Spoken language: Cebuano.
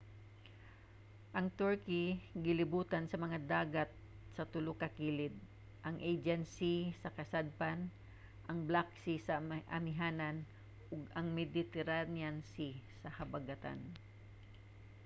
ang turkey gilibutan sa mga dagat sa tulo ka kilid: ang aegean sea sa kasadpan ang black sea sa amihanan ug ang mediterranean sea sa habagatan